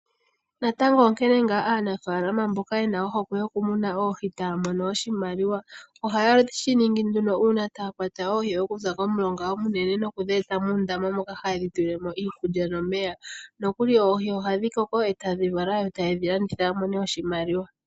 Aanafaalama mbono ye na ohokwe yoku muna oohi ohaa mono iimaliwa. Ngele oya kunu oohi dhawo muundama ohayedhi tekula nawa dhi koke yo yedhi landithepo yi imonene oshimaliwa.